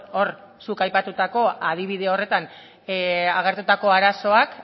hor zuk aipatutako adibide horretan agertutako arazoak